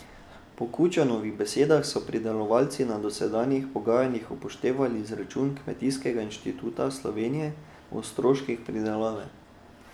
Po Kučanovih besedah so pridelovalci na dosedanjih pogajanjih upoštevali izračun Kmetijskega inštituta Slovenije o stroških pridelave.